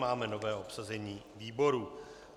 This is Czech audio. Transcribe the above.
Máme nové obsazení výborů.